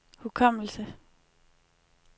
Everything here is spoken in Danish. hukommelse